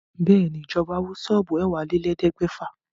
Bẹ́ẹ̀ ni, ìjọba wó ṣọ́ọ́bù ẹ̀wálélẹ̀ẹ́dẹ́gbèfà